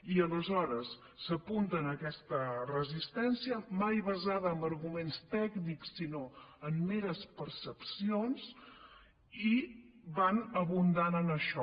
i aleshores s’apunten a aquesta resistència mai basada en arguments tècnics sinó en meres percepcions i van abundant en això